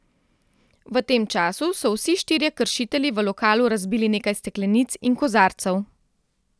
V tem času so vsi štirje kršitelji v lokalu razbili nekaj steklenic in kozarcev.